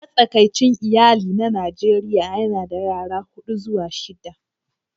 Matsakaicin iyali na Najeriya yana da yara huɗu zuwa shida